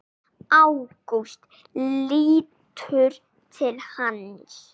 Ágúst lítur til hans.